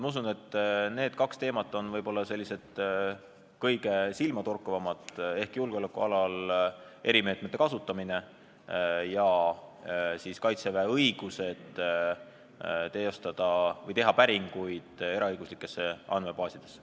Ma usun, et need kaks teemat on kõige silmatorkavamad: julgeolekualal erimeetmete kasutamine ja Kaitseväe õigus teha päringuid eraõiguslikest andmebaasidest.